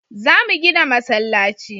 Za mu gina masallaci